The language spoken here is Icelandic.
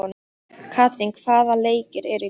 Katrín, hvaða leikir eru í kvöld?